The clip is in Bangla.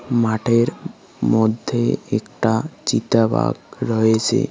মাঠের মধ্যে একটা চিতা বাঘ রয়েছে।